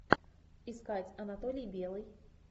искать анатолий белый